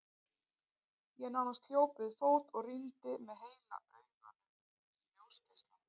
Ég nánast hljóp við fót og rýndi með heila auganu í ljósgeislann.